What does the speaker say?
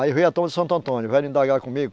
Aí veio a turma de Santo Antônio, vieram indagar comigo.